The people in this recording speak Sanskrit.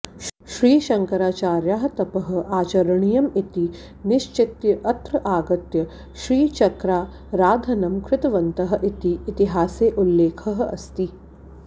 श्रीशङ्कराचार्याः तपः आचरणीयम् इति निश्चित्य अत्र आगत्य श्रीचक्राराधनं कृतवन्तः इति इतिहासे उल्लेखः अस्ति